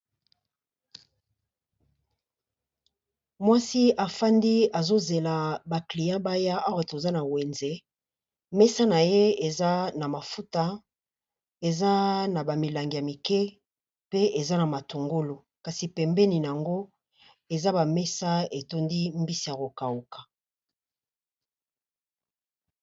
Mwasi afandi azo zela ba client baya awa toza na wenze, mesa na ye eza na mafuta eza na ba milangi ya mike pe eza na matungulu kasi pembeni nango eza ba mesa etondi mbisi ya ko kauka.